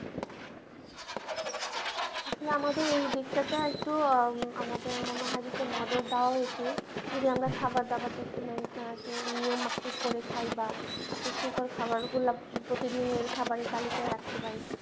আসলে আমাদের এই দিকটাতে একটু আঃ আমাদের মনে হয় একটু নজর দেওয়া উচিত যদি আমরা খাবার দাবার একটু নিয়ম মাপিক করে খায় বা পুষ্টিকর খাবার গুলো প্রতিদিনের তালিকাই রাখতে পারি